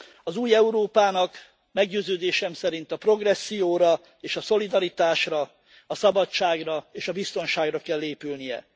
Az új Európának meggyőződésem szerint a progresszióra és a szolidaritásra, a szabadságra és a biztonságra kell épülnie.